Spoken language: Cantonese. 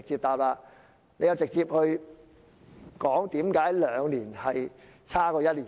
她直接說明為何兩年較1年差。